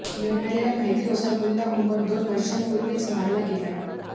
मिळालेल्या माहितीनुसार Mullah Omar दोन वर्षांपूर्वीच मारला गेलाय